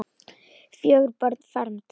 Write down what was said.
Fjögur börn fermd.